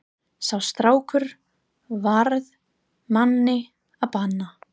Sá strákur varð manni að bana.